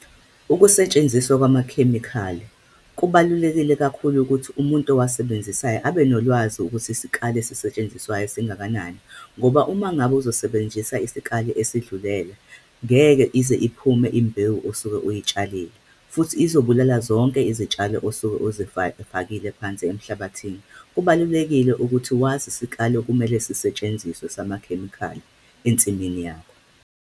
Ukusetshenziswa kwamakhemikhali, kubalulekile kakhulu ukuthi umuntu owasebenzisayo abe nolwazi ukuthi isikali esisetshenziswa singakanani, ngoba uma ngabe uzosebenzisa isikali esidlulele, ngeke iphume imbewu osuke uyitshalile, futhi izobulala zonke izitshalo osuke uzifaka uzifakile phansi emhlabathini. Kubalulekile ukuthi wazi isikali okumele sisetshenziswe samakhemikhali, ensimini yakho.